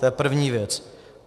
To je první věc.